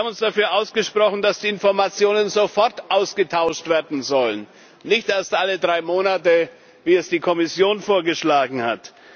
Wir haben uns dafür ausgesprochen, dass die Informationen sofort ausgetauscht werden sollen, nicht erst alle drei Monate, wie es die Kommission vorgeschlagen hat.